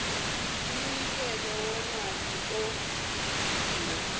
umnikelo wemali owenziwe